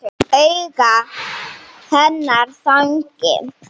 Augu hennar þannig.